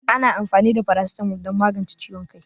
Ana amfani da paracetamol don magance ciwon kai